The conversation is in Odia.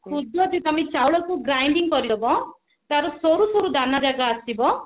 ଖୁଦ ଯଦି ତମେ ଚାଉଳକୁ grinding କରି ଦେବ ତାର ସରୁ ସରୁ ଦାନ ଯାକ ଆସିବ